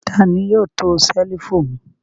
Ta ni yóò to ṣẹ́lífù mi?